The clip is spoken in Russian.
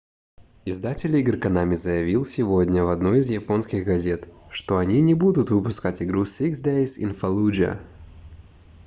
издатель игр konami заявил сегодня в одной из японских газет что они не будут выпускать игру six days in fallujah